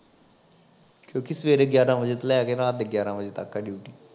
ਕਿਉਕਿ ਸਵੇਰੇ ਗਿਆਰਾਂ ਵਜੇ ਤੋਂ ਲੈ ਕੇ ਰਾਤ ਦੇ ਗਿਆਰਾਂ ਵਜੇ ਤੱਕ ਹੈ ਡਿਊਟੀ